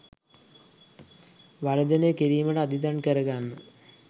වර්ජනය කිරීමට අදිටන් කර ගන්නා